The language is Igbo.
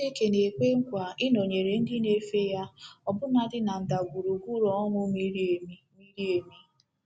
Chineke na-ekwe nkwa ịnọnyere ndị na-efe ya ọbụnadị na “ndagwurugwu ọnwụ miri emi. miri emi. ”